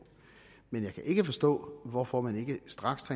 men jeg kan ikke forstå hvorfor man ikke straks